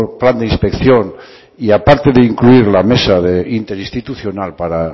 plan de inspección y aparte de incluir la mesa interinstitucional para